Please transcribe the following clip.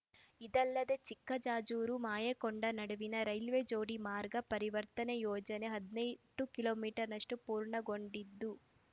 ಇದಲ್ಲದೆ ಚಿಕ್ಕಜಾಜೂರು ಮಾಯಕೊಂಡ ನಡುವಿನ ರೈಲ್ವೆ ಜೋಡಿ ಮಾರ್ಗ ಪರಿವರ್ತನೆ ಯೋಜನೆ ಹದಿನೆಂಟು ಕಿಲೋ ಮೀಟರ್ ನಷ್ಟುಪೂರ್ಣಗೊಂಡಿದ್ದು